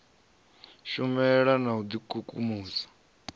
shumela na u d ikukumusa